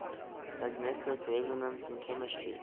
magnetic resonance in chemistry